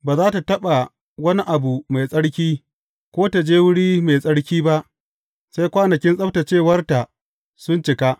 Ba za tă taɓa wani abu mai tsarki, ko ta je wuri mai tsarki ba sai kwanakin tsabtaccewarta sun cika.